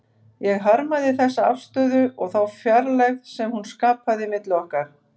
Ég harmaði þessa afstöðu og þá fjarlægð sem hún skapaði milli okkar.